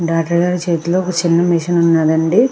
Doctor గారి చేతిలో ఒక చిన్న మెషిన్ ఉన్నదండి.